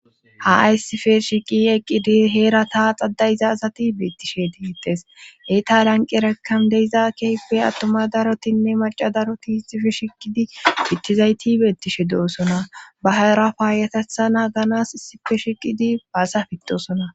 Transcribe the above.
ha aysife shiqi eqqidi heera taa xada izaazati beettishe diiyides hey ta lanqierekkan deizaa keype attoma darotinne maca daroti sife shikidi kittizayti beettishe doosona bahara paayatethana ganas sipe shiqidi baasa fittosona.